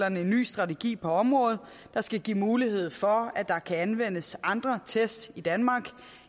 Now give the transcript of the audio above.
en ny strategi på området der skal give mulighed for at der kan anvendes andre test i danmark